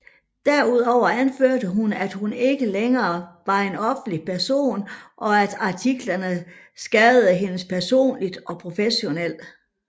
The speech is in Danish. Derudover anførte hun at hun ikke længere var en offentlig person og at artiklerne skadede hende personligt og professionelt